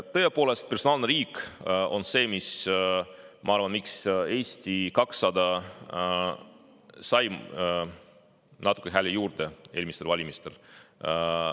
Tõepoolest, personaalne riik on see, mille pärast, ma arvan, Eesti 200 sai natukene hääli juurde eelmistel valimistel.